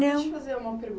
Não. Deixa eu fazer uma